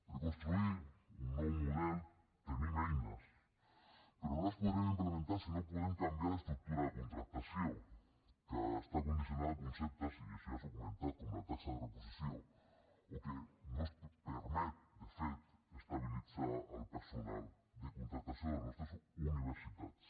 per construir un nou model tenim eines però no les podrem implementar si no podem canviar l’estructura de contractació que està condicionada a conceptes i això ja s’ha comentat com la taxa de reposició que no ens permet de fet estabilitzar el personal de contractació de les nostres universitats